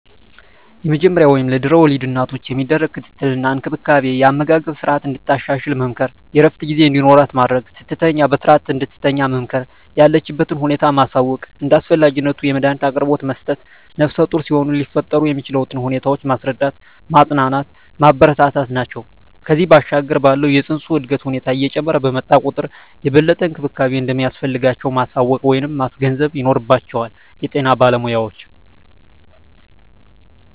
የመጀመሪያ ወይም ለድሕረ ወሊድ እናቶች የሚደረግ ክትትል እና እንክብካቤ የአመጋገብ ስረዓትን እንድታሻሽል መምከር፣ የእረፍት ጊዜ እንዲኖራት ማድረግ፣ ስትተኛ በስረዓት እንድትተኛ መምከር፣ የለችበትን ሁኔታ ማሳወቅ፣ እንደ አስፈላጊነቱ የመዳኒት አቅርቦት መስጠት፣ ነፍሰጡር ሲሆኑ ሊፈጠር የሚችለውን ሁኔታ ማስረዳት፣ ማፅናናት፣ ማበረታታት ናቸው። ከዚያ ባሻገር ባለው የፅንሱ የእድገት ሁኔታ እየጨመረ በመጣ ቁጥር የበለጠ እንክብካቤ እንደሚያስፈልጋቸው ማሳወቅ ወይም ማስገንዘብ ይኖርባቸዋል የጤና ባለሞያዎች።